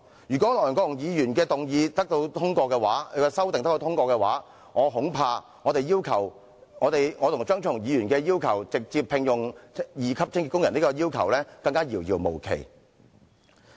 如果梁國雄議員的修正案獲得通過，我恐怕我和張超雄議員直接聘用清潔工的要求會變得遙遙無期。